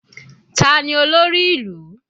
Tani olórí ìlú?